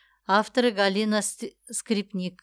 авторы галина скрипник